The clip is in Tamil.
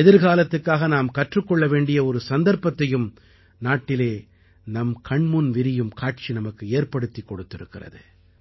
எதிர்காலத்துக்காக நாம் கற்றுக் கொள்ள வேண்டிய ஒரு சந்தர்ப்பத்தையும் நாட்டிலே நம் கண்முன் விரியும் காட்சி நமக்கு ஏற்படுத்திக் கொடுத்திருக்கிறது